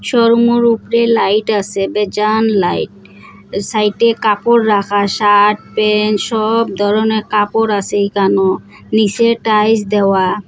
শোরুমর উপরে লাইট আসে বেজান লাইট সাইটে কাপড় রাখা শার্ট প্যান্ট সব ধরনের কাপড় আসে ইখানো নীসে টাইলস দেওয়া।